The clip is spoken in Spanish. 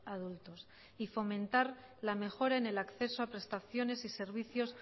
adultos y fomentar la mejora en el acceso a prestaciones y servicios